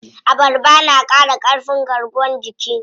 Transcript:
Abarba na ƙara ƙarfin garkuwan jiki.